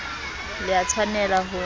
le a tshwanel a ho